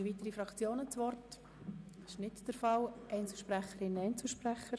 Wünschen weitere Fraktionen das Wort oder Einzelsprecherinnen und Einzelsprecher?